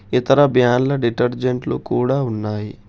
ఇతర డిటేర్జెంట్ లు కూడా ఉన్నాయి.